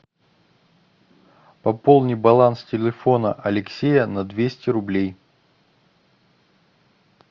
пополни баланс телефона алексея на двести рублей